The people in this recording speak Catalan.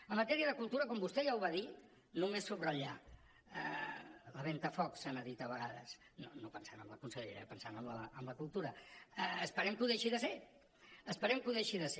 en matèria de cultura com vostè ja ho va dir només subratllar la ventafocs se n’ha dit a vegades no pensant en la consellera eh pensant en la cultura esperem que ho deixi de ser esperem que ho deixi de ser